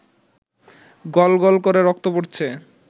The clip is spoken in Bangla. গল গল করে রক্ত পড়ছে